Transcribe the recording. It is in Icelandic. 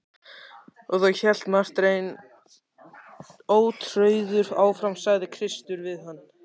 Og þá, hélt Marteinn ótrauður áfram,-sagði Kristur við hann.